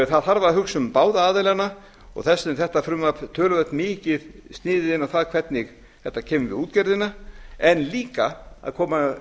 það þarf að hugsa um báða aðilana og þess vegna er þetta frumvarp töluvert mikið sniðið inn á það hvernig þetta kemur við útgerðina en líka koma